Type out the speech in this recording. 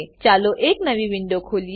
ચાલો એક નવી વિંડો ખોલીએ